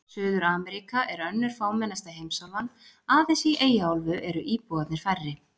Suður-Ameríka er önnur fámennasta heimsálfan, aðeins í Eyjaálfu eru íbúarnir færri.